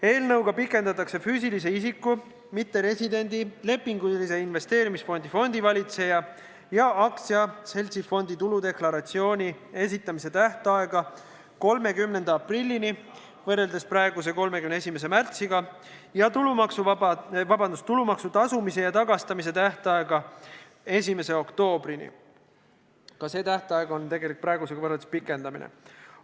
Eelnõuga pikendatakse füüsilise isiku, mitteresidendi, lepingulise investeerimisfondi fondivalitseja ja aktsiaseltsi fondi tuludeklaratsiooni esitamise tähtaega 30. aprillini – võrreldes praeguse 31. märtsiga – ja tulumaksu tasumise ja tagastamise tähtaega 1. oktoobrini – ka see tähtaeg on praegusega võrreldes pikendamine.